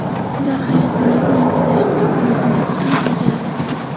Ular hayotingizni yengillashtirib, vaqtingizni ham tejaydi.